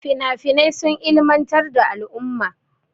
Finafinai sun ilimantar da al'umma.